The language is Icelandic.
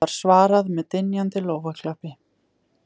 Því var svarað með dynjandi lófaklappi